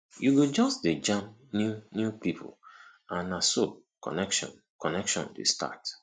yu go jus dey jam new new pipo and na so connection connection dey start